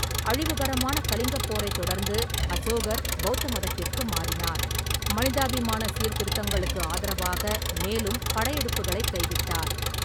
அழிவுகரமான கலிங்கப் போரைத் தொடர்ந்து அசோகர் பெளத்த மதத்திற்கு மாறினார், மனிதாபிமான சீர்திருத்தங்களுக்கு ஆதரவாக மேலும் படையெடுப்புகளைக் கைவிட்டார்.